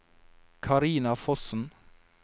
Carina Fossen